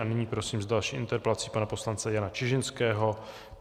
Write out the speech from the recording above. A nyní prosím s další interpelací pana poslance Jana Čižinského.